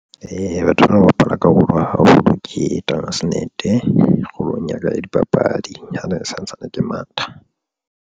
Eya, batho bana ba bapala karolo haholo ke transnet kgolong ya ka ya dipapadi ha ne santsane ke matha.